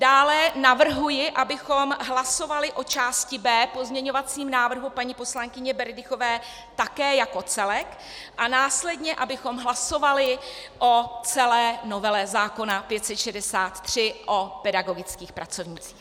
Dále navrhuji, abychom hlasovali o části B pozměňovacího návrhu paní poslankyně Berdychové také jako celek, a následně abychom hlasovali o celé novele zákona 563, o pedagogických pracovnících.